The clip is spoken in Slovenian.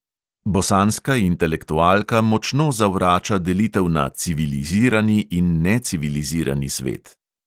Bosanska intelektualka močno zavrača delitev na civilizirani in necivilizirani svet.